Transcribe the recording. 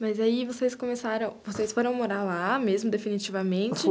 Mas aí vocês começaram, vocês foram morar lá mesmo, definitivamente?